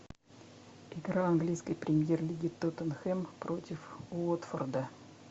игра английской премьер лиги тоттенхэм против уотфорда